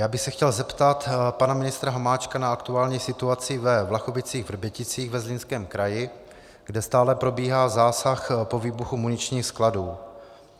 Já bych se chtěl zeptat pana ministra Hamáčka na aktuální situaci ve Vlachovicích-Vrběticích ve Zlínském kraji, kde stále probíhá zásah po výbuchu muničních skladů.